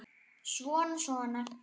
Svona, svona